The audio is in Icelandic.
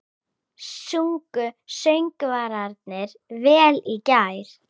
Sungu söngvararnir vel í gær?